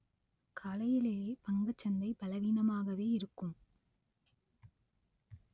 காலையிலேயே பங்குச் சந்தை பலவீனமாகவே இருக்கும்